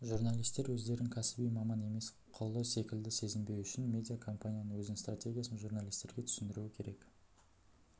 журналистер өздерін кәсіби маман емес құлы секілді сезінбеуі үшін медиа компания өзінің стратегиясын журналистерге түсіндіруі керек